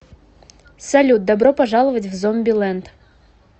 салют добро пожаловать в зомби ленд